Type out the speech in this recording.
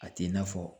A t'i n'a fɔ